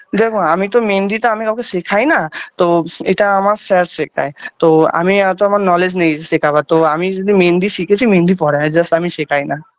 দেখো আমি তো মেহেন্দি তো আমি কাউকে শেখায় না তো এটা আমার sir শেখায় তো আমি এত আমার knowledge নেই যে শেখাবার তো আমি শুধু মেহেন্দি শিখেছি মেহেন্দি পরাই just আমি শেখাই না